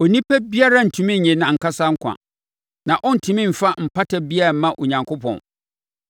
Onipa biara rentumi nnye nʼankasa nkwa na ɔrentumi mfa mpata biara mma Onyankopɔn.